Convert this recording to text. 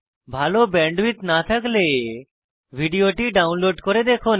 ভাল ব্যান্ডউইডথ না থাকলে ভিডিওটি ডাউনলোড করে দেখুন